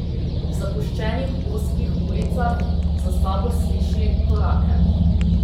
V zapuščenih ozkih ulicah za sabo sliši korake.